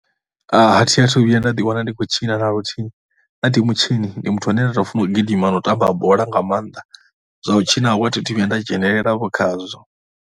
A thi athu ḓiwana ndi khou tshina na luthihi. Nṋe athu mutshini, ndi muthu ane a tou funa u gidima na u tamba bola nga maanḓa. Zwa u tshinavho a thi athu vhuya nda dzhenelela khazwo.